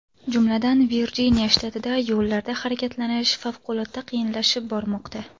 Jumladan, Virjiniya shtatida yo‘llarda harakatlanish favqulodda qiyinlashib bormoqda.